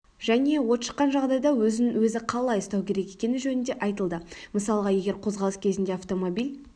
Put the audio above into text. және от шыққан жағдайда өзін-өзі қалай ұстау керек екені жөнінде айтылды мысалға егер қозғалыс кезінде автомобиль